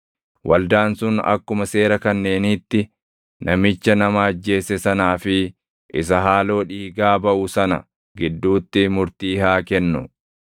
waldaan sun akkuma seera kanneeniitti namicha nama ajjeese sanaa fi isa haaloo dhiigaa baʼu sana gidduutti murtii haa kennu.